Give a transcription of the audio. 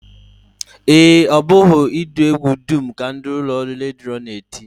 Ee, ọ bụghị ụdị egwu dum ka ụlọọrụ redio na-eti